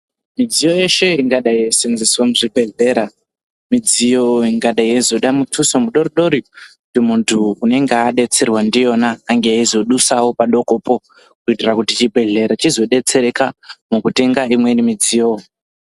Midziyo yeshe ingadai yei muzvibhedhlera, midziyo ingadai yeizoda mutuso mudori-dori kuti muntu anenge adetserwa ndiyona ange eizodusawo padokopo kuitira kuti chibhedhlera chizodetsereka mukutenga imweni midziyo.